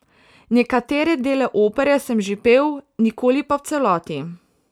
Nekatere dele opere sem že pel, nikoli pa v celoti.